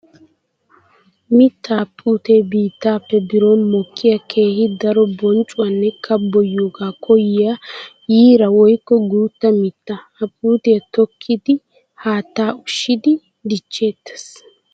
Mitta puute biittappe biron mokkiya keehi daro bonchchuwanne kabboyiyooga koyiya yiira woykko guuta mitta. Ha puutiya tokkiddi haatta ushiddi dicheetes.